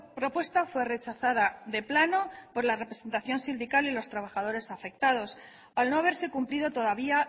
propuesta fue rechazada de plano por la representación sindical y los trabajadores afectados al no haberse cumplido todavía